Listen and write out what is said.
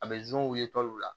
A bɛ ye la